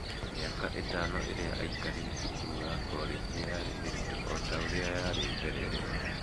Mĩaka ĩtano ĩrĩa aikarire cukuru wa korĩji yarĩ mĩritũ o ta ũrĩa yarĩ mbere ĩyo.